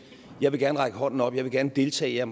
jeg vil gerne række hånden op jeg vil gerne deltage jeg